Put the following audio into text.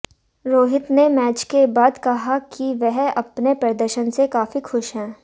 रोहित ने मैच के बाद कहा कि वह अपने प्रदर्शन से काफी खुश हैं